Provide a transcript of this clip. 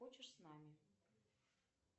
хочешь с нами